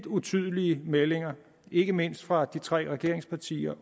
utydelige meldinger ikke mindst fra de tre regeringspartiers